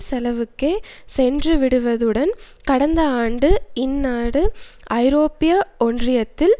செலவுக்கே சென்றுவிடுவதுடன் கடந்த ஆண்டு இந்நாடு ஐரோப்பிய ஒன்றியத்தில்